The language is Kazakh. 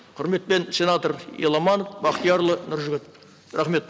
құрметпен сенатор еламанов бақтиярұлы нұржігіт рахмет